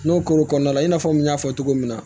N'o kɔr'o kɔnɔna la i n'a fɔ n y'a fɔ cogo min na